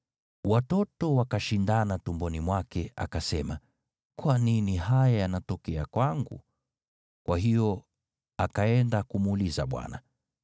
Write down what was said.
Watoto wakashindana tumboni mwake, akasema, “Kwa nini haya yanatokea kwangu?” Kwa hiyo akaenda kumuuliza Bwana .